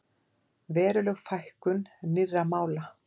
Veruleg fækkun nýrra mála